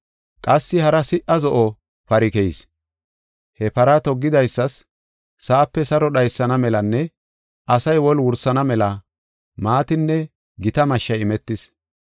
Qassi hara siha zo7o pari keyis. He para toggidaysas sa7ape saro dhaysana melanne asay woli wursana mela maatinne gita mashshay imetis.